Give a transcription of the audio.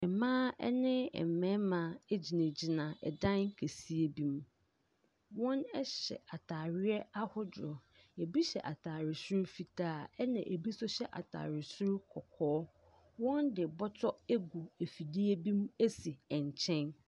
Mmaa ne mmarima gyinagyina dan kɛseɛ bi mu. Wɔhyɛ atareɛ ahodoɔ. Ebi hyɛ atare soro fitaa, ɛnna ebi nso hyɛ atare soro kɔkɔɔ. Wɔde bɔtɔ agu afidie bi mu asi nkyɛn.